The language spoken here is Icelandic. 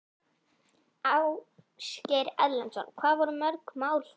Ásgeir Erlendsson: Hvað voru mörg mál þá?